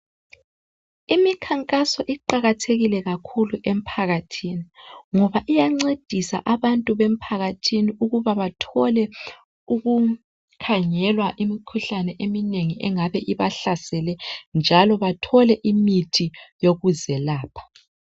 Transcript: Imikhankaso iqakathekile kakhulu emphakathini, ngoba iyancedisa abantu bemphakathini ukuba bathole uku-khangelwa imikhuhlane eminengi engabe ibahlasele njalo bathole imithi yokuzelapha.